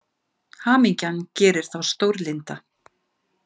Hamingjan gerir þá stórlynda.